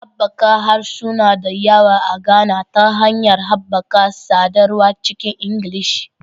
Haɓaka harsuna da yawa a Ghana ta hanyar haɓaka sadarwa cikin Ingilishi